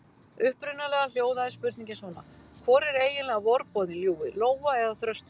Upprunalega hljóðaði spurningin svona: Hvor er eiginlega vorboðinn ljúfi: Lóa eða þröstur?